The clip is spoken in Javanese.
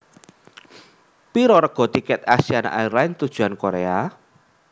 Piro rega tiket Asiana Airlines tujuan Korea